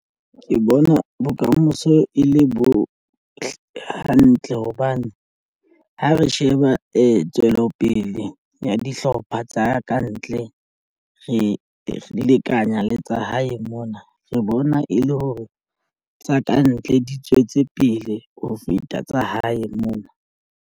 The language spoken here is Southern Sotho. Ke bona bokamoso e le bo hantle hobane ha re sheba tswelopele ya dihlopha tsa kantle re lekanya le tsa hae mona re bona e le hore tsa kantle di tswetse pele ho feta tsa hae mona.